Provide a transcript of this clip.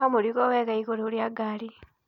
Oha mũrigo wega igũrũ rĩa gari.